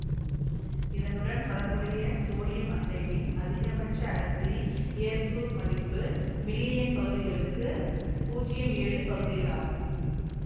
இதனுடன் தொடர்புடைய சோடியம் அசைடின் அதிகபட்ச அடர்த்தி ஏற்பு மதிப்பு மில்லியன் பகுதிகளுக்கு பூஜ்யம் ஏழு பகுதிகளாகும்